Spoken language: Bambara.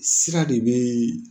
Sira de bɛ